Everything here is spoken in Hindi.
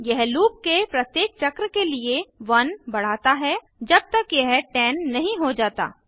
यह लूप के प्रत्येक चक्र के लिए 1 बढ़ाता है जब तक यह 10 नहीं हो जाता